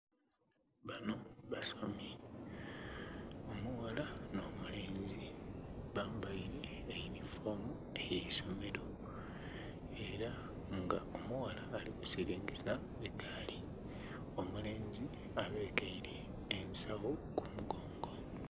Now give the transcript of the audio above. Abanho basomi omughala nho mulenzi bambeire eyundi fomu ey'eisomelo era nga omughala alikusingisa eigaali omulenzi abekele ensagho kumugongo.